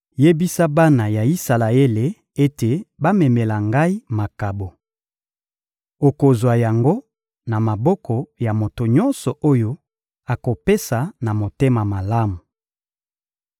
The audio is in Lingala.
— Yebisa bana ya Isalaele ete bamemela Ngai makabo. Okozwa yango na maboko ya moto nyonso oyo akopesa na motema malamu.